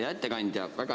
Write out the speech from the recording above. Hea ettekandja!